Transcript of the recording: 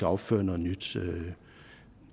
opføre noget nyt